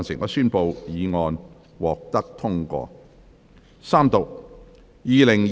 我宣布議案獲得通過。